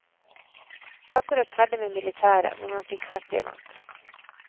Akkurat ferdig med militæret, hvor man fikk ferdig mat.